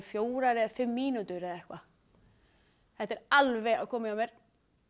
fjórar eða fimm mínútur eða eitthvað þetta er alveg að koma hjá mér